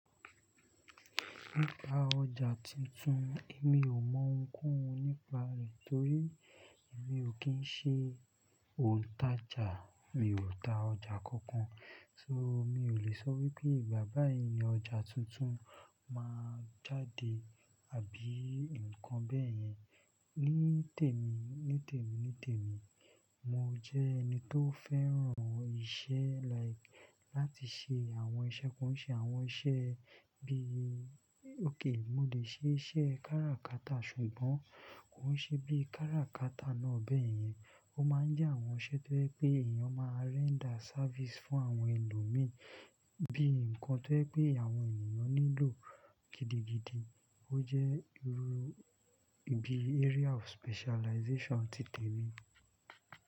Nípa ọjà tuntun, èmi ò mọ ohunkóhun nípa rẹ̀, torí èmi ò kí ń ṣe òǹtajà, mi ò ta ọjà kankan. So, mi ò lè sọ wípé ìgbà báyìí ni ọjà tuntun máa jáde, àbí nǹkan bẹ́ẹ̀ yẹn. Ní temi, mo jẹ́ ẹni tó fẹ́ràn iṣẹ́ like láti ṣe àwọn iṣẹ́, kò ń se àwọn iṣẹ́ bíi okay, mo lè ṣe iṣẹ́ káràkátà ṣùgbọ́n kò ń ṣe bí káràkátà náà bẹ́ẹ̀ yẹn. Ó máa ń jẹ́ àwọn iṣẹ́ tó jẹ́ pé èèyàn máa render service fún àwọn ẹlòmí bí nǹkan tó jẹ́ pé àwọn ènìyàn nílò gidigidi. Ó jẹ́ irú ibi area of specialization ti tèmi.